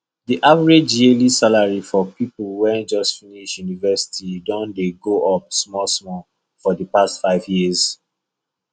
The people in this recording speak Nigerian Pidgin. the average yearly salary for people wey just finish university don dey go up smallsmall for the past five years